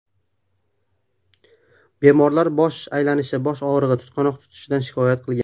Bemorlar bosh aylanishi, bosh og‘rig‘i, tutqanoq tutishidan shikoyat qilgan.